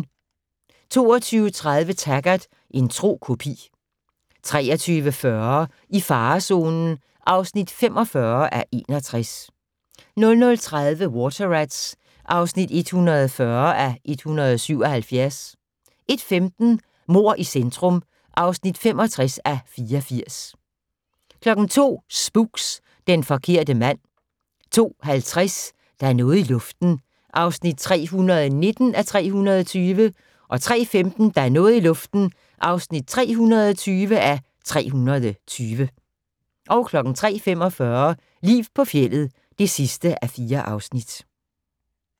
22:30: Taggart: En tro kopi 23:40: I farezonen (45:61) 00:30: Water Rats (140:177) 01:15: Mord i centrum (65:84) 02:00: Spooks: Den forkerte mand 02:50: Der er noget i luften (319:320) 03:15: Der er noget i luften (320:320) 03:45: Liv på fjeldet (4:4)